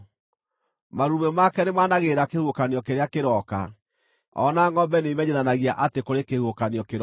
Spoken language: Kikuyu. Marurumĩ make nĩmanagĩrĩra kĩhuhũkanio kĩrĩa kĩroka; o na ngʼombe nĩimenyithanagia atĩ kũrĩ kĩhuhũkanio kĩroka.